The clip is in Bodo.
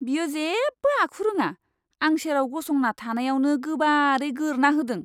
बियो जेबो आखु रोङा। आं सेराव गसंना थानायावनो गोबारै गोरना होदों।